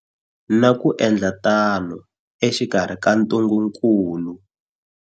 Na ku endla tano exikarhi ka ntungukulu.